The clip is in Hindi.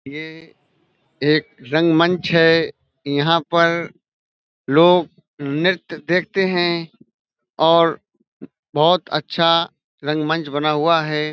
ये एक रंगमंच है। यहाँ पर लोग नृत्य देखते हैं और बहोत अच्छा रंगमंच बना हुआ है।